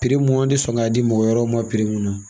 mun an tɛ sɔn ka di mɔgɔ wɛrɛw ma mun na.